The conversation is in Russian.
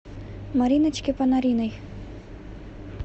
мариночке панариной